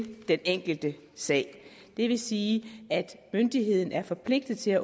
den enkelte sag det vil sige at myndigheden er forpligtet til at